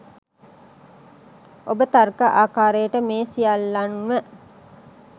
ඔබ තර්ක ආකාරයට මේ සියල්ලන්ම